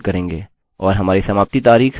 और हमारी समाप्ति तारिख यहाँ है